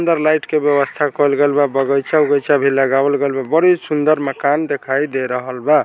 अंदर लाइट के व्यवस्था कईल गेल बा बगीचा उगाइचा भी लगावल गेल बा बड़ी सुंदर मकान दिखाई दे रहल बा।